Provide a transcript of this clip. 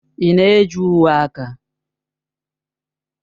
Ị na-eji uwe aka?